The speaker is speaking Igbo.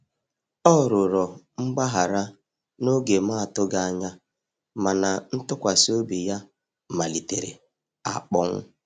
Ọ rụrọ mgbahara na oge m atughi anya, mana ntụkwasi obi ya malitere akponwụ